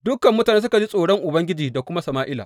Dukan mutane suka ji tsoron Ubangiji da kuma Sama’ila.